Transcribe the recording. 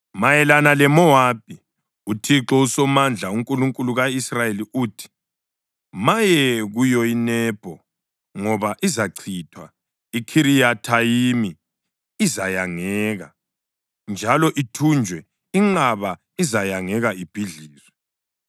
Mayelana leMowabi: UThixo uSomandla, uNkulunkulu ka-Israyeli uthi: “Maye kuyo iNebho ngoba izachithwa. IKhiriyathayimi izayangeka njalo ithunjwe; inqaba izayangeka ibhidlizwe.